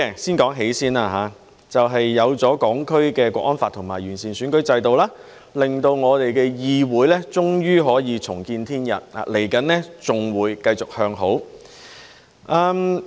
先說"喜"，就是有了《香港國安法》及完善了選舉制度，令我們的議會終於可以重見天日，往後還會繼續向好。